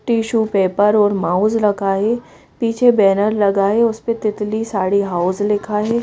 Tissue paper और mouse लगा है पीछे बैनर लगा है उस पे तितली साड़ी हाउस लिखा है।